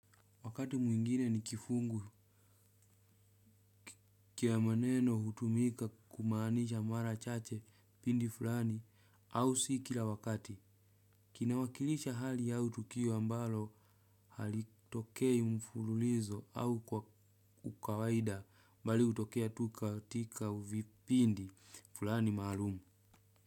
Wakati mwingine ni kifungu cha maneno hutumika kumaanisha mara chache kipindi fulani au si kila wakati. Kina wakilisha hali au tukio ambalo halitokei mfululizo au kwa ukawaida bali hutokea tu katika vipindi fulani maalum.